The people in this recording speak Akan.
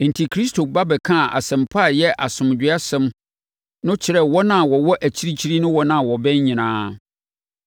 Enti, Kristo ba bɛkaa Asɛmpa a ɛyɛ asomdwoesɛm no kyerɛɛ wɔn a wɔwɔ akyirikyiri ne wɔn a wɔbɛn nyinaa.